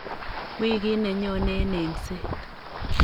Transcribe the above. wikit ne nyonei eng engset.